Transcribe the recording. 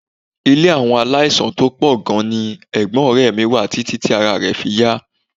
Ilé àwọn aláìsàn tó pọ̀ gan-an ni ẹ̀gbọ́n ọ̀rẹ́ mi wà títí tí ará rẹ̀ fi yá